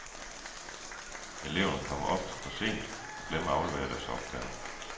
Eleverne kommer ofte for sent og glemmer at aflevere deres opgaver.